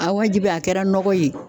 wajibi a kɛra nɔgɔ ye